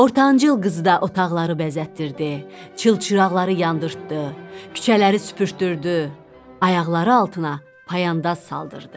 Ortancıl qızı da otaqları bəzətdirdi, çılçıraqları yandirtdı, küçələri süpürtdürdü, ayaqları altına payandaz saldırdı.